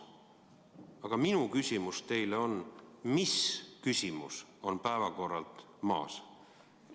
Aga minu küsimus teile on: mis küsimus on päevakorralt maas?